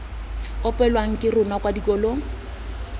opelwang ke rona kwa dikolong